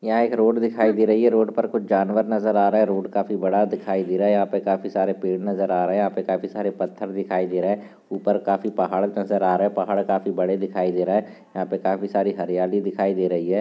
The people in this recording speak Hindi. रोड दिखाई दे रही है रोड पर कुछ जानवर नजर आ रहे है रोड काफी बड़ा दिखाई दे रहा हैयहाँ पे काफी सारे पेड़ नजर आ रहे है यहाँ पे काफी सारे पत्थर दिखाई दे रहे है ऊपर काफी पहाड़ नजर आ रहे है पहाड़ काफी बड़े दिखाई दे रहे है यहाँ पे काफी सारी हरियाली दिखाई दे रही है।